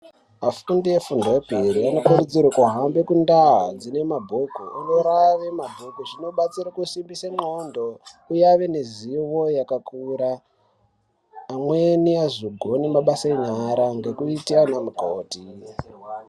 Afundi efundo yepiri anokurudzirwa kuhambe kundaa dzinemabhuku anorava mabhuku. Zvinobatsire kusimbise ndxondo uye ave nezivo yakakura. Amweni azogona mabasa enyara ngekuite anamukoti.